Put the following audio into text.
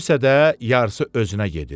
Söyürsə də yarısı özünə gedir.